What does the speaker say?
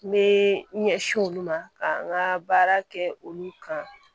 N bɛ n ɲɛsin olu ma ka n ka baara kɛ olu kan